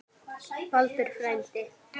Baldur frændi.